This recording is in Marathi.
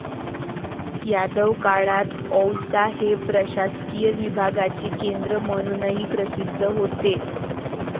यादव काळात औसा हे प्रशासकीय विभागाचे केंद्र म्हणूनही प्रसिद्ध होते.